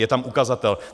Je tam ukazatel.